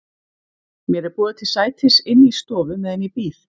Mér er boðið til sætis inni í stofu meðan ég bíð.